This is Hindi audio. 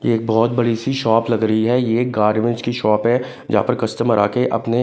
यह एक बहुत बड़ी सी शॉप लग रही है यह गारमेंट्स की शॉप है यहां पर कस्टमर्स आकर अपने--